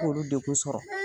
K'olu degu sɔrɔ